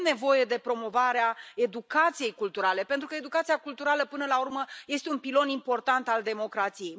Avem nevoie de promovarea educației culturale, pentru că educația culturală, până la urmă, este un pilon important al democrației.